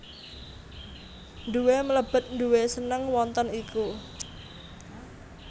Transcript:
Nduwe mlebet nduwe seneng wonten iku